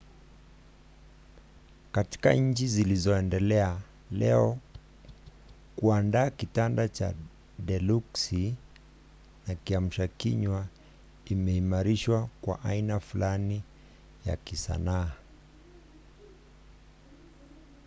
katika nchi zilizoendelea leo kuandaa kitanda cha deluksi na kiamshakinywa imeimarishwa kwa aina fulani ya kisanaa